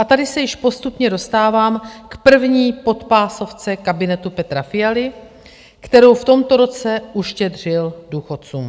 A tady se již postupně dostávám k první podpásovce kabinetu Petra Fialy, kterou v tomto roce uštědřil důchodcům.